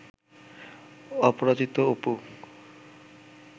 Aparajito Apu